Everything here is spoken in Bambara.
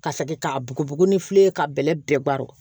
Ka segin ka bugubugu ni filen ye ka bɛlɛ bɛɛ baron